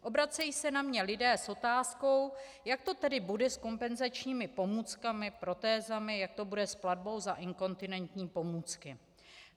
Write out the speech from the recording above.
Obracejí se na mě lidé s otázkou, jak to tedy bude s kompenzačními pomůckami, protézami, jak to bude s platbou za inkontinenční pomůcky.